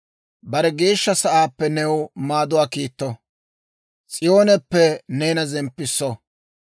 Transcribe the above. Bare Geeshsha Sa'aappe new maaduwaa kiitto; S'iyooneppe neena zemppisso.